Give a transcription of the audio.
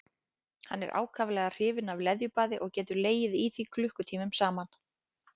Hann er ákaflega hrifinn af leðjubaði og getur legið í því klukkutímum saman.